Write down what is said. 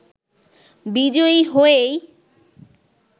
বিজয়ী হয়েই